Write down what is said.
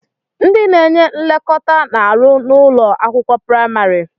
Ndị na-enye nlekọta na-arụ n'ụlọ akwụkwọ praimari.